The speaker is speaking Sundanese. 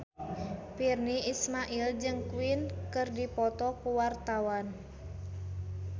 Virnie Ismail jeung Queen keur dipoto ku wartawan